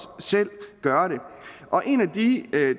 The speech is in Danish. selv gøre det en af de